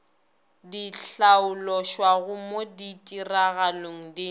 di hlaološwago mo ditiragalong di